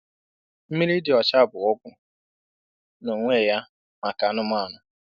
Mmiri dị ọcha bụ ọgwụ n'onwe ya maka anụmanụ.